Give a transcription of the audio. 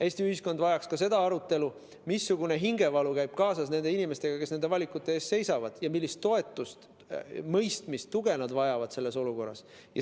Eesti ühiskond vajaks ka seda arutelu, missugune hingevalu on nendel inimestel, kes nende valikute ees seisavad, ning millist toetust, mõistmist ja tuge nad selles olukorras vajavad.